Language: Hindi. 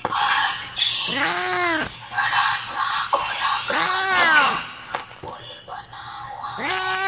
बाहर एक बड़ा सा गोलाकार का पुल बना हुआ है।